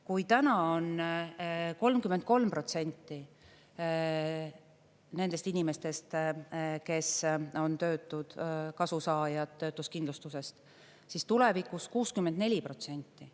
Kui täna on 33% nendest inimestest, kes on töötud, kasu saajad töötuskindlustusest, siis tulevikus 64%.